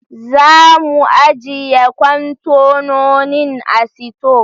Za mu ajjiye kwantenonin a sito.